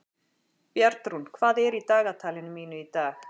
Bjarnrún, hvað er í dagatalinu mínu í dag?